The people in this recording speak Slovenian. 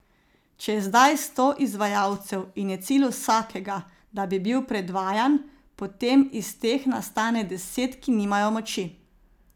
Če je zdaj sto izvajalcev in je cilj vsakega, da bi bil predvajan, potem iz teh nastane deset, ki nimajo moči.